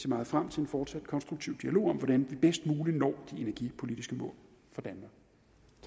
meget frem til en fortsat konstruktiv dialog om hvordan vi bedst muligt når de energipolitiske mål